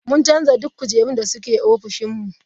Mun canza duk kujerun da ke ofishin mu.